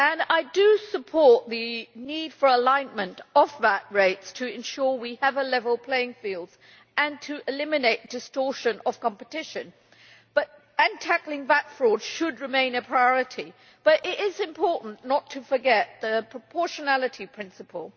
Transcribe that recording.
I do support the need for alignment of VAT rates to ensure we have a level playing field and to eliminate distortion of competition, and tackling VAT fraud should remain a priority, but it is important not to forget the proportionality principle.